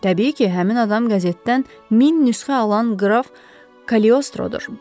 Təbii ki, həmin adam qəzetdən min nüsxə alan Qraf Kaliostrodur.